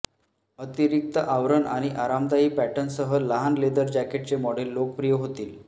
अतिरीक्त आवरण आणि आरामदायी पॅटर्नसह लहान लेदर जॅकेटचे मॉडेल लोकप्रिय होतील